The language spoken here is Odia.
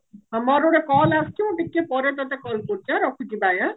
ହ ମୋର ଗୋଟେ call ଆସୁଛି ମୁଁ ଟିକେ ପରେ ତତେ call କରୁଛି ଆଁ ରଖୁଛି ଆଁ bye